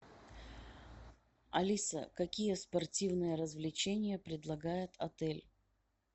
алиса какие спортивные развлечения предлагает отель